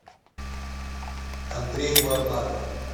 андрей варнаков